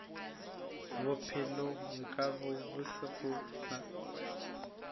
bophelo nkabe bo se gona